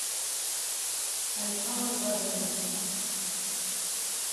александр важенников